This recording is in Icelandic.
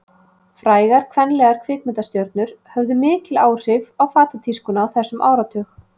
Frægar kvenlegar kvikmyndastjörnur höfðu mikil áhrif á fatatískuna á þessum áratug.